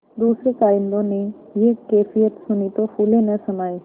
दूसरें कारिंदों ने यह कैफियत सुनी तो फूले न समाये